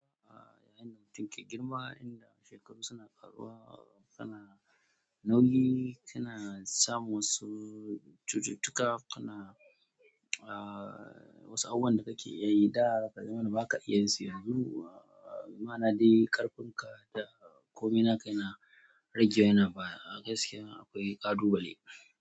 Ah, yayin da mutum ke girma, inda shekaru suna ƙaruwa, kana nauyi, kana samu wasu cututtuka, kana ah, wasu abubuwan da kake iya yi da ka zamana baka iya su yanzu. Ah, ma'ana dai ƙarfinka da komai naka yana rage yana baya. A gaskiya akwai ƙalubale.